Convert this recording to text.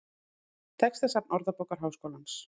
Textasafn Orðabókar Háskólans.